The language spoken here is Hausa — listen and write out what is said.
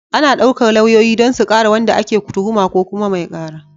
Ana ɗaukar lauyoyi don su kare wanda ake tuhuma ko kuma mai ƙara.